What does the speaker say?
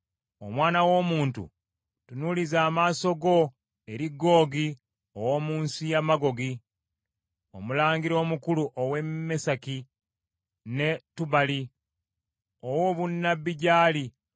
“Omwana w’omuntu tunuuliza amaaso go eri Googi ow’omu nsi ya Magoogi, omulangira omukulu owa Meseki ne Tubali, owe obunnabbi gy’ali,